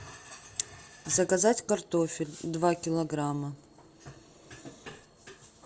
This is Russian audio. заказать картофель два килограмма